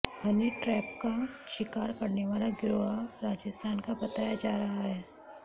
Honey trap का शिकार करने वाला गिरोह राजस्थान का बताया जा रहा है